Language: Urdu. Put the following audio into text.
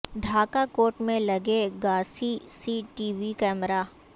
ڈھاکہ کورٹ میں لگے گا CCTV camera